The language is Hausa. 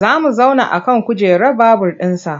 Za mu zauna a kan kujerar babur ɗinsa.